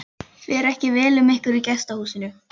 Fer ekki vel um ykkur í gestahúsinu?